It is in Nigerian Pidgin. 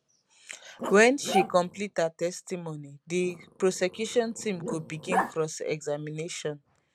wen she complete her testimony di prosecution team go begin cross examination